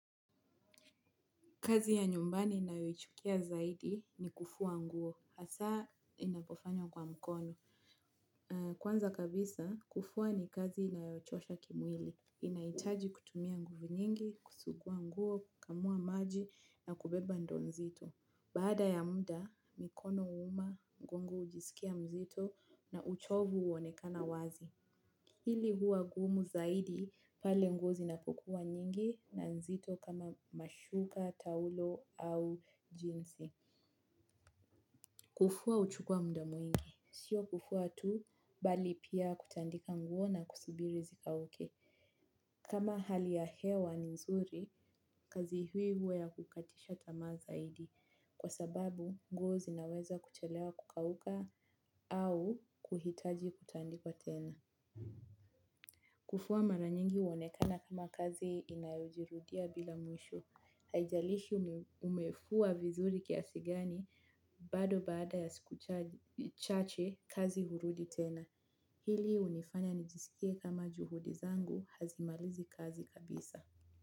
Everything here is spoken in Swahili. Kazi ya nyumbani ninayoichukia zaidi ni kufua nguo, hasa inapofanywa kwa mkono. Kwanza kabisa, kufua ni kazi inayochosha kimwili. Inahitaji kutumia nguvu nyingi, kusugua nguo, kukamua maji na kubeba ndoo nzito. Baada ya muda, mikono huuma, mgongo hujisikia mzito na uchovu uonekana wazi. Hili huwa gumu zaidi pale nguo zinapokuwa nyingi na nzito kama mashuka, taulo au jinzi. Kufua huchukua muda mwingi. Sio kufua tu bali pia kutandika nguo na kusibiri zikauke. Kama hali ya hewa ni nzuri, kazi hii huwa ya kukatisha tamaa zaidi. Kwa sababu nguo zinaweza kuchelewa kukauka au kuhitaji kutandikwa tena. Kufua mara nyingi uonekana kama kazi inayojirudia bila mwisho haijalishi umefua vizuri kiasi gani bado baada ya siku chache kazi hurudi tena. Hili unifanya nijisikie kama juhudi zangu hazimalizi kazi kabisa.